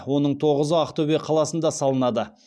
оның тоғызы ақтөбе қаласында салынады